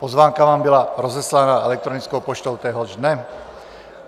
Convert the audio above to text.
Pozvánka vám byla rozeslána elektronickou poštou téhož dne.